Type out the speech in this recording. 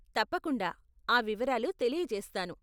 తప్పకుండా ఆ వివరాలు తెలియచేస్తాను.